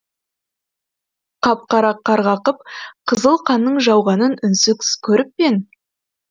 қап қара қарғақып қызыл қанның жауғанын үнсіз көріп пең